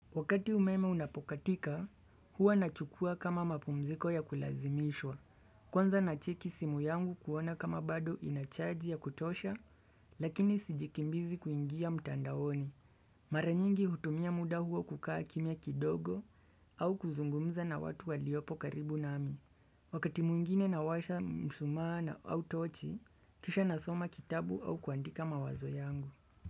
Wakati umeme unapokatika, huwa nachukua kama mapumziko ya kulazimishwa. Kwanza nacheki simu yangu kuona kama bado inachaji ya kutosha, lakini sijikimbizi kuingia mtandaoni. Mara nyingi hutumia muda huo kukaa kimya kidogo au kuzungumza na watu waliopo karibu nami. Wakati mwingine nawasha mshumaa na au tochi, kisha nasoma kitabu au kuandika mawazo yangu.